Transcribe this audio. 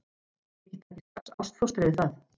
Þið takið strax ástfóstri við það.